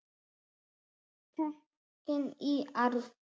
Tekin í arf.